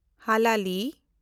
ᱦᱟᱞᱟᱞᱤ